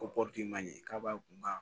Ko pɔru manɲi k'a b'a kun